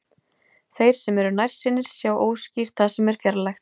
Þeir sem eru nærsýnir sjá óskýrt það sem er fjarlægt.